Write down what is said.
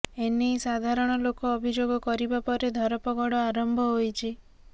ଏନେଇ ସାଧାରଣ ଲୋକ ଅଭିଯୋଗ କରିବା ପରେ ଧରପଗଡ ଆରମ୍ଭ ହୋଇଛି